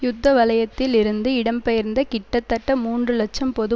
யுத்த வலயத்தில் இருந்து இடம்பெயர்ந்த கிட்டத்தட்ட மூன்று இலட்சம் பொது